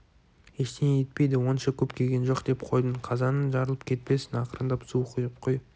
ештеңе етпейді онша көп күйген жоқ деп қойдым қазаның жарылып кетпесін ақырындап су құйып қой